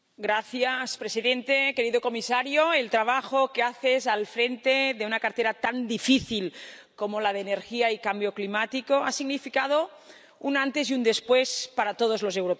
Señor presidente, querido comisario, el trabajo que haces al frente de una cartera tan difícil como la de Energía y Cambio Climático ha significado un antes y un después para todos los europeos.